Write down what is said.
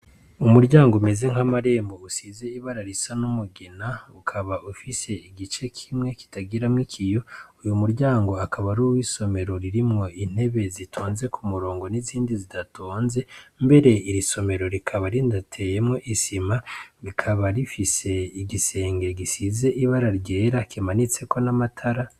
Umuryango umeze nk'amarembo usize ibara risa n'umugina ,ukaba ufise igice kimwe kitagira mw'ikiyo uyu muryango akaba rimw'isomero ririmwo intebe zitonze ku murongo n'izindi zidatonze ,mbere iri somero rikaba ridateyemwo isima rikaba rifise igisenge gisize ibara ryera ,kimanitse ko n'amatara.